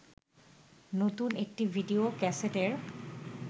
নতুন একটি ভিডিও ক্যাসেটের